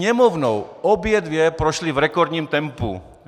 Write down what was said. Sněmovnou obě dvě prošly v rekordním tempu.